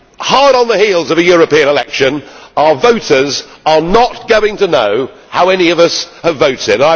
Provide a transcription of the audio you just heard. Hard on the heels of European elections, our voters are not going to know how any of us have voted.